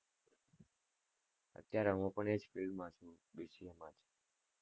અત્યારે હું પણ એ જ field માં છું BCA માં જ